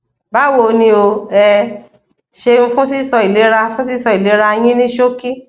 báwo ni o ẹ ṣeun fún sísọ ìlera fún sísọ ìlera yín ní ṣókí